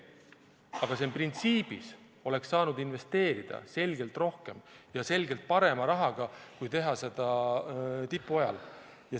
Aga printsiibis oleks saanud investeerida selgelt rohkem ja selgelt parema rahaga kui tipu ajal.